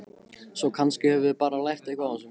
Svo kannski höfum við bara lært eitthvað á þessu.